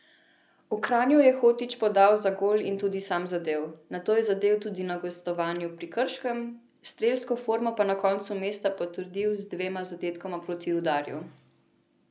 V Kranju je Hotić podal za gol in tudi sam zadel, nato je zadel tudi na gostovanju pri Krškem, strelsko formo pa konec meseca potrdil z dvema zadetkoma proti Rudarju.